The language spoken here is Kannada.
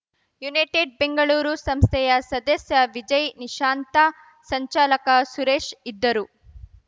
ಯುನೈಟೆಡ್‌ ಬೆಂಗಳೂರು ಸಂಸ್ಥೆಯ ಸದಸ್ಯ ವಿಜಯ್‌ ನಿಶಾಂತ ಸಂಚಾಲಕ ಸುರೇಶ್‌ ಇದ್ದರು